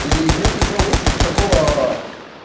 и нет ничего лучше вот такого